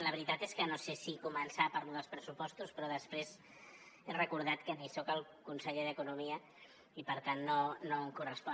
la veritat és que no sé si començar per lo dels pressupostos però després he recordat que no soc el conseller d’economia i per tant no em correspon